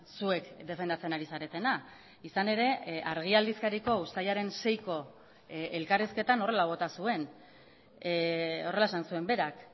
zuek defendatzen ari zaretena izan ere argi aldizkariko uztailaren seiko elkarrizketan horrela bota zuen horrela esan zuen berak